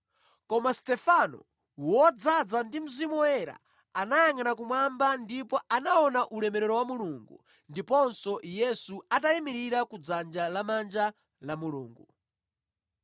Koma Stefano, wodzaza ndi Mzimu Woyera, anayangʼana kumwamba ndipo anaona ulemerero wa Mulungu ndiponso Yesu atayimirira ku dzanja lamanja la Mulungu.